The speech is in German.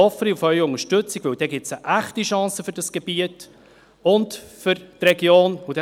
Ich hoffe dann auf Ihre Unterstützung, weil es eine echte Chance für das Gebiet und für die Region bedeutet.